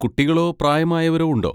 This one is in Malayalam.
കുട്ടികളോ പ്രായമായവരോ ഉണ്ടോ?